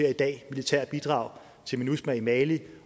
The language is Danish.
i dag militære bidrag til minusma i mali